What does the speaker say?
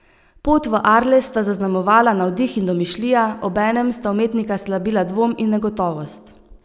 Pot v Arles sta zaznamovala navdih in domišljija, obenem sta umetnika slabila dvom in negotovost.